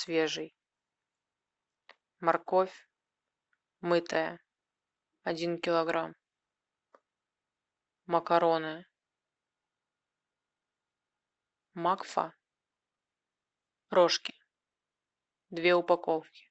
свежий морковь мытая один килограмм макароны макфа рожки две упаковки